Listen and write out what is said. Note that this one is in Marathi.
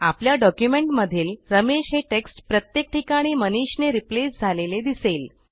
आपल्या डॉक्युमेंटमधील रमेश हे टेक्स्ट प्रत्येक ठिकाणी मनीष ने रिप्लेस झालेले दिसेल